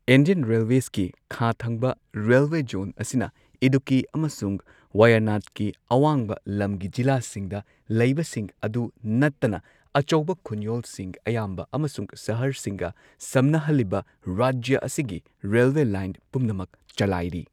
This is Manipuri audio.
ꯏꯟꯗꯤꯌꯟ ꯔꯦꯜꯋꯦꯁꯀꯤ ꯈꯥ ꯊꯪꯕ ꯔꯦꯜꯋꯦ ꯖꯣꯟ ꯑꯁꯤꯅ ꯏꯗꯨꯛꯀꯤ ꯑꯃꯁꯨꯡ ꯋꯥꯌꯥꯅꯥꯗꯀꯤ ꯑꯋꯥꯡꯕ ꯂꯝꯒꯤ ꯖꯤꯂꯥꯁꯤꯡꯗ ꯂꯩꯕꯁꯤꯡ ꯑꯗꯨ ꯅꯠꯇꯅ ꯑꯆꯧꯕ ꯈꯨꯟꯌꯣꯜꯁꯤꯡ ꯑꯌꯥꯝꯕ ꯑꯃꯁꯨꯡ ꯁꯍꯔꯁꯤꯡꯒ ꯁꯝꯅꯍꯜꯂꯤꯕ ꯔꯥꯖ꯭ꯌ ꯑꯁꯤꯒꯤ ꯔꯦꯜꯋꯦ ꯂꯥꯏꯟ ꯄꯨꯝꯅꯃꯛ ꯆꯂꯥꯏꯔꯤ꯫